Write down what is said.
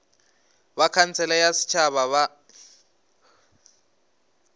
ba khansele ya setšhaba ya